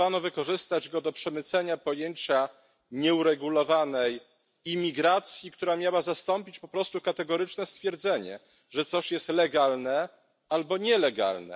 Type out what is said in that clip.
Próbowano wykorzystać go do przemycenia pojęcia nieuregulowanej imigracji, która miała zastąpić po prostu kategoryczne stwierdzenie, że coś jest legalne albo nielegalne.